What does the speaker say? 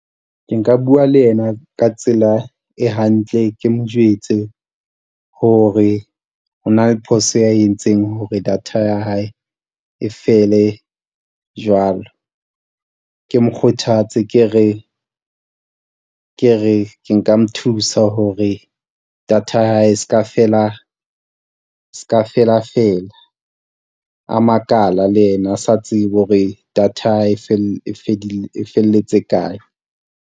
Ke nka bua le ena ka tsela e hantle. Ke mo jwetse hore ho na le phoso ya e entseng hore data ya hae e fele jwalo. Ke mokgothatsa ke re ke nka mo thusa hore data ya hae e se ka fela, e se ka felafela. A makala le yena a sa tsebe hore data e e felletse kae.